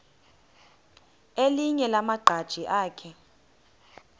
elinye lamaqhaji akhe